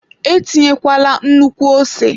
Etinyekwala nnukwu ose!